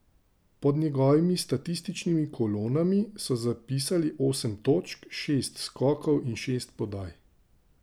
Pod njegovimi statističnimi kolonami so zapisali osem točk, šest skokov in šest podaj.